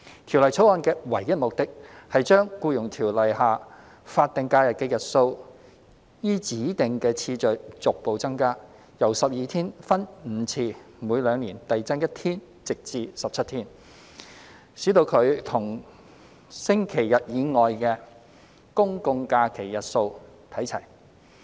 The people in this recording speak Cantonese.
《條例草案》的唯一目的，是將《僱傭條例》下法定假日的日數依指定次序逐步增加，由12天分5次每兩年遞增1天至17天，使其與星期日以外的公眾假期日數看齊。